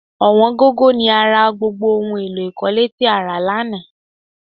Ọ̀wọ́n gógó ni a ra gbogbo ohun èlò ikọ̀le tí a rà lánàá